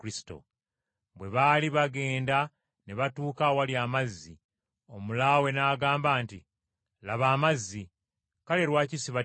Bwe baali bagenda ne batuuka awali amazzi, omulaawe n’agamba nti, “Laba amazzi! Kale lwaki sibatizibwa?”